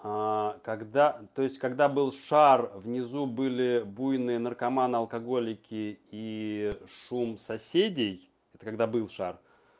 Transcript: когда то есть когда был шар внизу были буйные наркоманы алкоголики и шум соседей это когда был шар